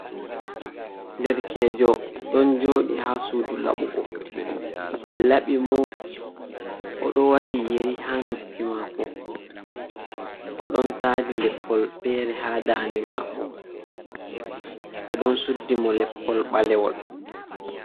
Derkejo ɗon joɗi ha suudu laɓugo, ɓe laɓi mo. O ɗo waɗi yeri ha noppi mako, o ɗon taadi leppol fere ha dannde mako. Ɓe ɗon suddi mo leppol ɓaleewol.